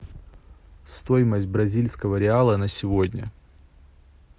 стоимость бразильского реала на сегодня